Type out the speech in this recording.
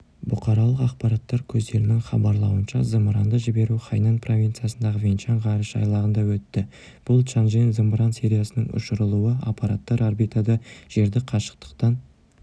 бұқаралық ақпарат көздерінің хабарлауынша зымыранды жіберу хайнань провинциясындағы вэньчан ғарыш айлағында өтті бұл чанчжэн зымыран сериясының ұшырылуы аппараттар орбитада жерді қашықтықтан